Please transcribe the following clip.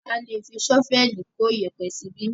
A lé fi ṣọ́vẹ̀lì kó iyẹ̀pẹ̀ síbí.